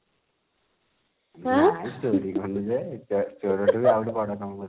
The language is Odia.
ନାଇଁ ଚୋରି କରିନୁ ଯେ ଚୋରି ଠାରୁ ଆହୁରି ଗୋଟେ ବଡ କାମ କରିଛୁ